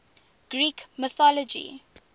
greek mythology